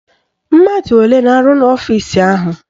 Mmadụ olee na-arụ ọrụ n'ọfisi ahụ?